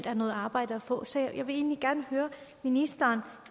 er noget arbejde at få jeg vil egentlig gerne høre ministeren